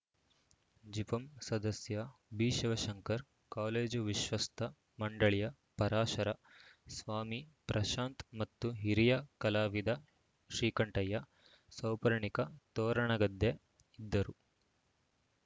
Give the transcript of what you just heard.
ಜಿಪಂ ಸದಸ್ಯ ಬಿಶಿವಶಂಕರ್ ಕಾಲೇಜು ವಿಶ್ವಸ್ಥ ಮಂಡಳಿಯ ಪರಾಶರ ಸ್ವಾಮಿ ಪ್ರಶಾಂತ್‌ ಮತ್ತು ಹಿರಿಯ ಕಲಾವಿದ ಶ್ರೀಕಂಠಯ್ಯ ಸೌಪರ್ಣಿಕ ತೋರಣಗದ್ದೆ ಇದ್ದರು